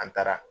An taara